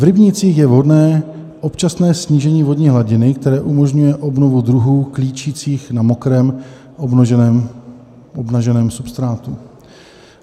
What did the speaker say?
V rybnících je vhodné občasné snížení vodní hladiny, které umožňuje obnovu druhů klíčících na mokrém obnaženém substrátu.